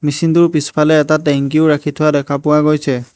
Machine টোৰ পিছফালে এটা টেংকিও ৰাখি থোৱা দেখা পোৱা গৈছে।